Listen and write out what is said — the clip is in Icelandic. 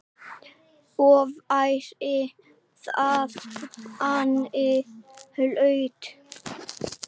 Og væri það henni hollt?